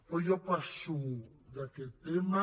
però jo passo d’aquest tema